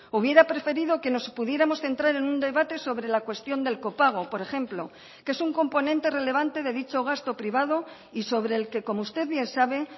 hubiera preferido que nos pudiéramos centrar en un debate sobre la cuestión del copago por ejemplo que es un componente relevante de dicho gasto privado y sobre el que como usted bien sabe